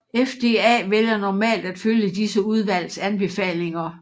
FDA vælger normalt at følge disse udvalgs anbefalinger